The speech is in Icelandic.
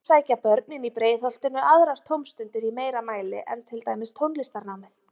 En sækja börnin í Breiðholtinu aðrar tómstundir í meira mæli en til dæmis tónlistarnámið?